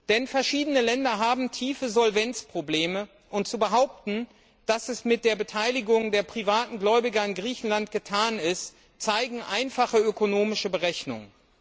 Denn verschiedene Länder haben große Solvenzprobleme, und dass es mit der Beteiligung der privaten Gläubiger in Griechenland nicht getan ist, zeigen einfache ökonomische Berechnungen.